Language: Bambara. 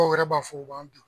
yɛrɛ b'a fɔ u b'an bin.